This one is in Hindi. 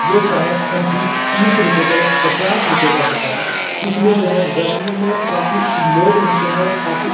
वो शायद समथिंग तीस रूपये का या पचास रुपये का होता है। इसमें जो है गर्मियों में काफी लोग नहाते हैं और काफी --